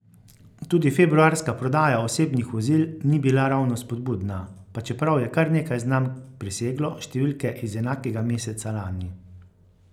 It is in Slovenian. Tudi februarska prodaja osebnih vozil ni bila ravno spodbudna, pa čeprav je kar nekaj znamk preseglo številke iz enakega meseca lani.